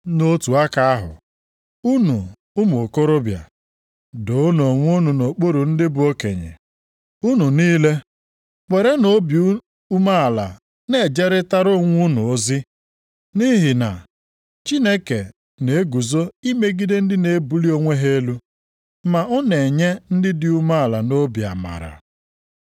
Nʼotu aka ahụ, unu ụmụ okorobịa, doonụ onwe unu nʼokpuru ndị bụ okenye. Unu niile werenụ obi umeala na-ejeritara onwe unu ozi, nʼihi na, “Chineke na-eguzo imegide ndị na-ebuli onwe ha elu, ma ọ na-enye ndị dị umeala nʼobi amara.” + 5:5 \+xt Ilu 3:34\+xt*